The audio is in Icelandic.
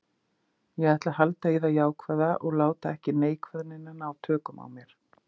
Ég ætla að halda í það jákvæða og láta ekki neikvæðnina ná tökum á mér.